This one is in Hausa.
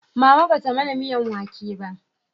Mama ba ta mana miyan wake ba